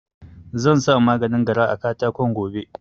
Zansa maganin gara a katakon gobe